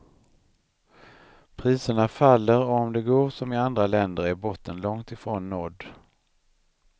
Priserna faller och om det går som i andra länder är botten långt ifrån nådd.